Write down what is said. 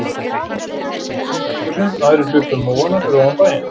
Sumir fóru í útihúsin, aðrir hlupu um móana fyrir ofan bæinn.